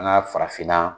An ka farafinna